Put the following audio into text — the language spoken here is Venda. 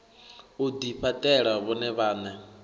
u ḓifha ṱela vhone vhaṋe